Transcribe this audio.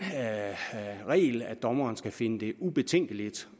regel at dommeren skal finde det ubetænkeligt